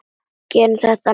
Gerum það næst.